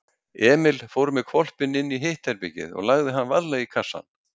Emil fór með hvolpinn inní hitt herbergið og lagði hann varlega í kassann.